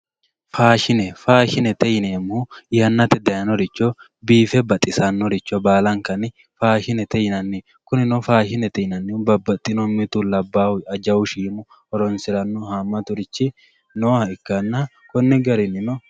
faashine faashinete yineemohu yannate dayiinoricho biife badhisannoricho balaankanni faashinete yinanni kunino faashinete yinannihu babbadhino mitu labaahu jawu shiimu horonsiranno haamaturichi nooha ikkanna konni garinnino